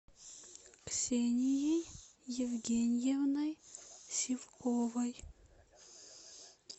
ксенией евгеньевной сивковой